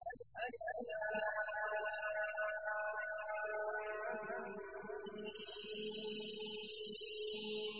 الم